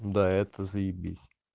да это заебись